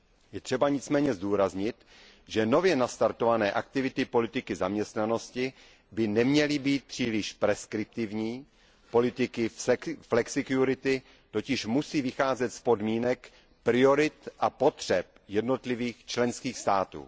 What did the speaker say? Je třeba nicméně zdůraznit, že nově nastartované aktivity politiky zaměstnanosti by neměly být příliš preskriptivní, politiky flexikurity totiž musí vycházet z podmínek, priorit a potřeb jednotlivých členských států.